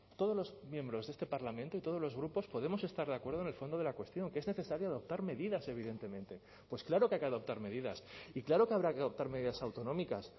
todos los miembros de este parlamento y todos los grupos podemos estar de acuerdo en el fondo de la cuestión que es necesario adoptar medidas evidentemente pues claro que hay que adoptar medidas y claro que habrá que adoptar medidas autonómicas